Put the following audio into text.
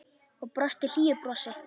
Og brosti hlýju brosi.